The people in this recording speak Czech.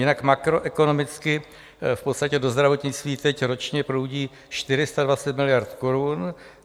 Jinak makroekonomicky v podstatě do zdravotnictví teď ročně proudí 420 miliard korun.